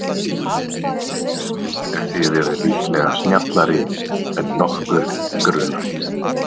Þið eruð líklega snjallari en nokkurn grunar.